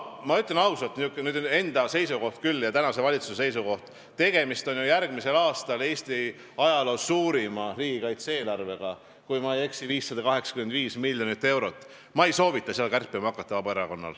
Ma ütlen ausalt, niisugune on minu enda seisukoht ja tänase valitsuse seisukoht, et järgmisel aastal on Eesti ajaloo suurim riigikaitse-eelarve, kui ma ei eksi, siis 585 miljonit eurot, ja ma ei soovita seda Vabaerakonnal kärpima hakata.